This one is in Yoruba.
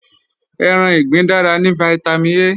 Ẹran ìgbín dára ní fítámìn A